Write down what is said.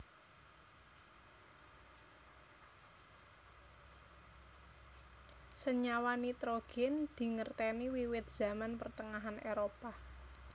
Senyawa nitrogèn dingertèni wiwit Zaman Pertengahan Éropah